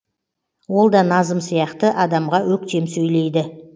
ол да назым сияқты адамға өктем сөйлейді